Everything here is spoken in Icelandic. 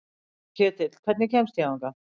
Ketill, hvernig kemst ég þangað?